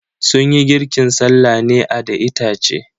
Sunyi girkin sallah ne a da itace.